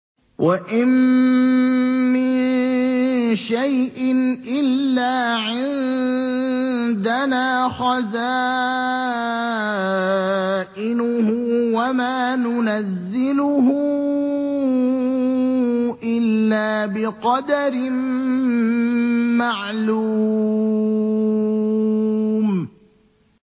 وَإِن مِّن شَيْءٍ إِلَّا عِندَنَا خَزَائِنُهُ وَمَا نُنَزِّلُهُ إِلَّا بِقَدَرٍ مَّعْلُومٍ